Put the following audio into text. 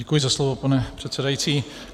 Děkuji za slovo, pane předsedající.